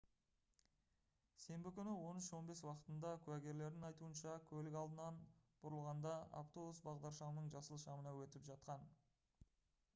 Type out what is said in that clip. сенбі күні 13:15 уақытында куәгерлердің айтуынша көлік алдынан бұрылғанда автобус бағдаршамның жасыл шамына өтіп жатқан